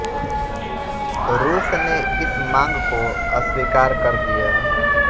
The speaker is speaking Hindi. रूस ने इस मांग को अस्वीकार कर दिया